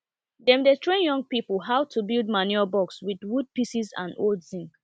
dem dey train young people how to build manure box with wood pieces and old zinc